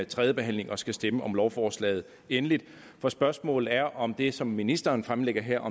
tredje behandling og skal stemme om lovforslaget endeligt for spørgsmålet er om det som ministeren fremsætter her